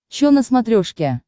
чо на смотрешке